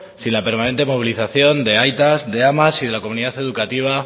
sin la permanente movilización de aitas de amas y de la comunidad educativa